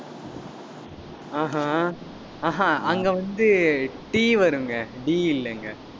ஆஹாங் ஆஹாங் அங்க வந்து T வருங்க, D இல்லைங்க.